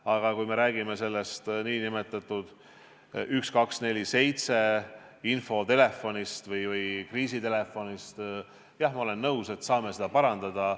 Aga kui me räägime infotelefonist või kriisitelefonist 1247, siis jah, ma olen nõus, me saame seda parandada.